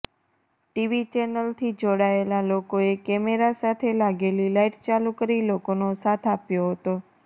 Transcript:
TV ચેનલથી જોડાયેલા લોકોએ કેમેરા સાથે લાગેલી લાઈટ ચાલુ કરી લોકોનો સાથ આપ્યો હતો